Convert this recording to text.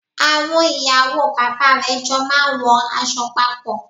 Àwon ìyàwó bàbá rè jo máa n wo aso papò